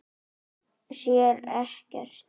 Sér ekkert.